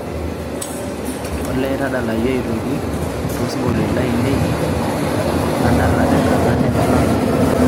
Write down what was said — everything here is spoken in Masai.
olly tadalayu aitoki to sinkolioitin lainei ladala tenkata nemelakua